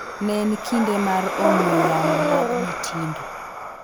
Ne en kinde mar ong'wee yamo mag "mitindo"